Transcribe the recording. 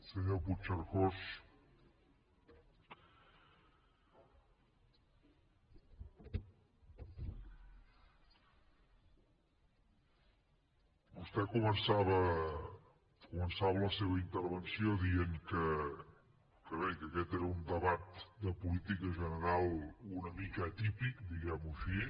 senyor puigcercós vostè començava la seva intervenció dient que bé que aquest era un debat de política general una mica atípic diguem ho així